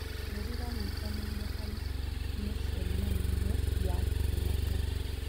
Bũrũri wanyitanĩire harĩ mĩcemaio ya kĩmabũrũri.